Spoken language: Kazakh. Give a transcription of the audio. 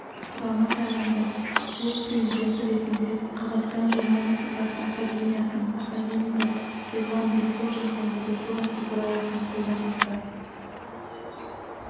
құрамы сайланды клуб президенті ретінде қазақстан журналистикасы академиясының академигі ерлан бекхожин кандидатурасы бірауыздан қолдау тапты